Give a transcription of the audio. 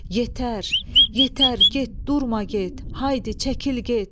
Yetər, yetər, get, durma get, haydi çəkil get!